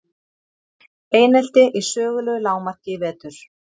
Einelti í sögulegu lágmarki í vetur